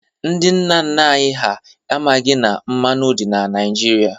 Ndị nna nna anyị ha amaghị na mmanụ dị na Naịjirịa.